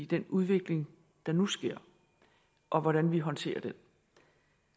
den udvikling der nu sker og hvordan vi håndterer den